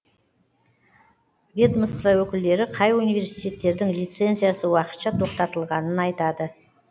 ведомство өкілдері қай университеттердің лицензиясы уақытша тоқтатылғанын айтады